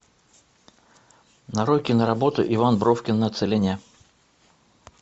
нарой киноработу иван бровкин на целине